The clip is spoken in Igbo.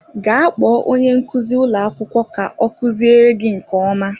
Gaa kpọọ onye nkuzi ụlọ akwụkwọ ka ọ kuziere gị nke ọma